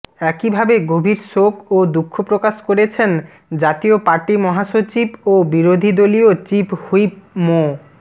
একইভাবে গভীর শোক ও দুঃখ প্রকাশ করেছেন জাতীয় পার্টি মহাসচিব ও বিরোধীদলীয় চিফ হুইপ মো